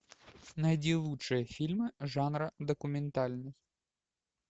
найди лучшие фильмы жанра документальный